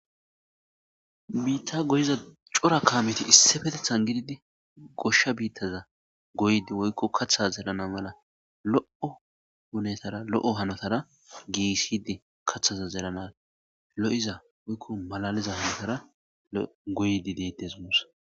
Bita goyiza cora Kameti Issipetethan gididi gosha biza goyidi woyko katha zeran mala lo'o hunetara lo'o hanotara gigisidi kathaza zeranas lo'iza woyko malaliza hanotara goyidi detese gussa